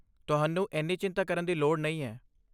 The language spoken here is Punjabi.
ਤੁਹਾਨੂੰ ਇੰਨੀ ਚਿੰਤਾ ਕਰਨ ਦੀ ਲੋੜ ਨਹੀਂ ਹੈ!